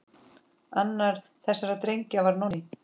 Annar þessara drengja var Nonni.